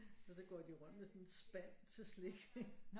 Og så går de rundt med sådan en spand til slik